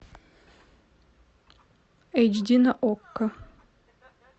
эйч ди на окко